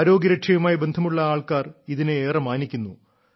ആരോഗ്യരക്ഷയുമായി ബന്ധമുള്ള ആൾക്കാർ ഇതിനെ ഏറെ മാനിക്കുന്നു